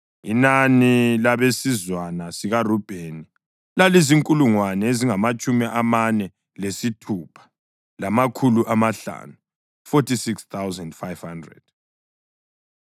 Inani labesizwana sikaRubheni lalizinkulungwane ezingamatshumi amane lesithupha, lamakhulu amahlanu (46,500).